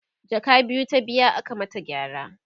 jaka biyu ta biya aka mata gyara